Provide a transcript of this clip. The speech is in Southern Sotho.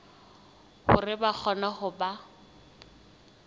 hore ba kgone ho ba